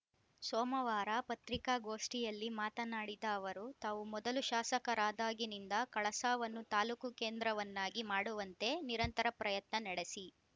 ಸೋಮವಾರ ಪತ್ರಿಕಾಗೋಷ್ಠಿಯಲ್ಲಿ ಮಾತನಾಡಿದ ಅವರು ತಾವು ಮೊದಲು ಶಾಸಕರಾದಾಗಿನಿಂದ ಕಳಸಾವನ್ನು ತಾಲೂಕು ಕೇಂದ್ರವನ್ನಾಗಿ ಮಾಡುವಂತೆ ನಿರಂತರ ಪ್ರಯತ್ನ ನಡೆಸಿ